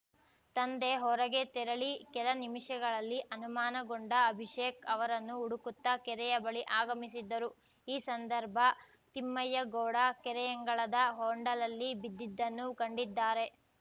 ತಂದೆ ಹೊರಗೆ ತೆರಳಿ ಕೆಲ ನಿಮಿಷಗಳಲ್ಲಿ ಅನುಮಾನಗೊಂಡ ಅಭಿಷೇಕ್‌ ಅವರನ್ನು ಹುಡುಕುತ್ತ ಕೆರೆಯ ಬಳಿ ಆಗಮಿಸಿದ್ದರು ಈ ಸಂದರ್ಭ ತಿಮ್ಮಯ್ಯಗೌಡ ಕೆರೆಯಂಗಳದ ಹೊಂಡಲಲ್ಲಿ ಬಿದ್ದಿದ್ದನ್ನು ಕಂಡಿದ್ದಾರೆ